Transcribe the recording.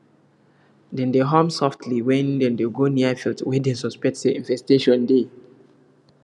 dem dey hum softly when dem dey go near field wey dem suspect say infestation dey